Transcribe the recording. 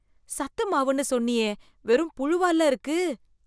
சத்து மாவுன்னு சொன்னியே... வெறும் புழுவால்ல இருக்கு